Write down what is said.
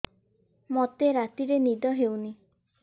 ମୋତେ ରାତିରେ ନିଦ ହେଉନି